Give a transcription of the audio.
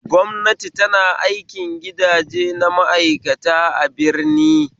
Gwamnati tana aikin gidaje na ma'aikata a birni